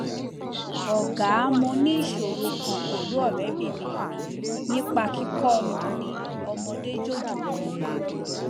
ọgá mo ní ìṣòro kan pẹlú ọrẹbìnrin mi nípa kíkọ ọmọ ní ọmọdé jòjòló